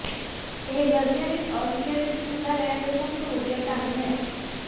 ਇਹ ਗਰਮੀਆਂ ਵਿੱਚ ਅਸਟੋਰੀਆ ਵਿੱਚ ਠੰਡਾ ਰਹਿਣ ਦੇ ਸਭ ਤੋਂ ਵਧੀਆ ਢੰਗ ਹੈ